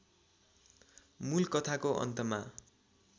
मूल कथाको अन्तमा